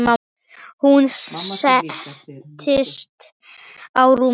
Hún settist á rúmið mitt.